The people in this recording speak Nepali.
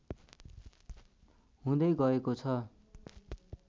हुँदै गएको छ